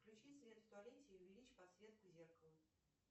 включи свет в туалете и увеличь подсветку зеркала